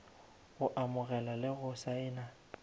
go amogela le go saena